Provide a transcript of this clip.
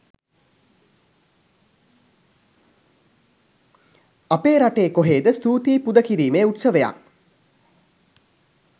අපේ රටේ කොහේද ස්තුතියි පුද කිරීමේ උත්සවයක්.